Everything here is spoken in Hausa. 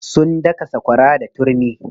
Sun daka sakwara da turmi.